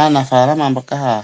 Aanafaalama mboka haya